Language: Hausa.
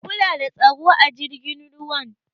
Ku kula da tsaro a jirgin ruwan!